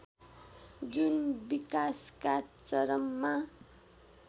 जुन विकासका चरममा